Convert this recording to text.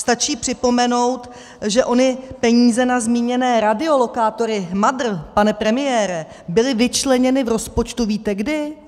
Stačí připomenout, že ony peníze na zmíněné radiolokátory MADR, pane premiére, byly vyčleněny v rozpočtu - víte kdy?